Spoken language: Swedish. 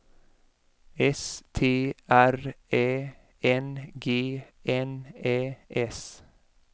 S T R Ä N G N Ä S